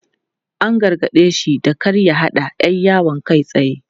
An gargade shi da kar ya haɗa 'yar yawon kai tsaye.